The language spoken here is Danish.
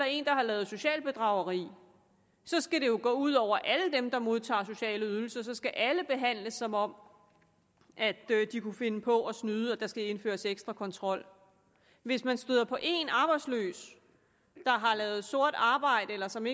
en der har lavet socialt bedrageri skal det jo gå ud over alle dem der modtager sociale ydelser og så skal alle behandles som om de kunne finde på at snyde og der skal indføres ekstra kontrol hvis man støder på en arbejdsløs der har lavet sort arbejde eller som